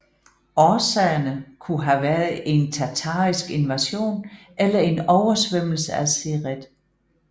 Årsagerne kunne have været en tatarisk invasion eller en oversvømmelse af Siret